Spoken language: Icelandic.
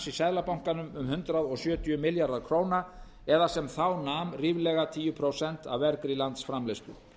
í seðlabankanum um hundrað sjötíu milljarðar króna eða sem þá nam ríflega tíu prósent af vergri landsframleiðslu